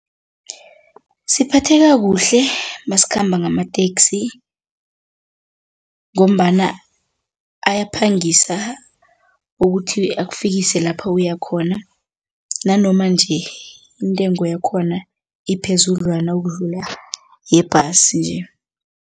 Siphatheka kuhle nasikhamba ngamateksi ngombana ayaphangisa ukuthi akufikisa lapha uyakhona nanoma nje intengo yakhona iphezudlwana ukudlula yebhasi nje.